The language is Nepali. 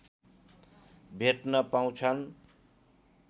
भेट्न पाउछन्